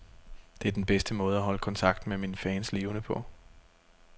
Det er den bedste måde at holde kontakten med mine fans levende på.